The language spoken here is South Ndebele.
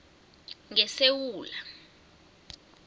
ngesewula